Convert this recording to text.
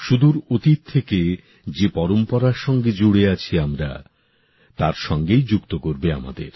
সুদূর অতীত থেকে যে পরম্পরার সঙ্গে জুড়ে আছি আমরা তার সঙ্গেই যুক্ত করবে আমাদের